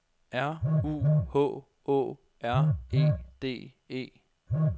R U H Å R E D E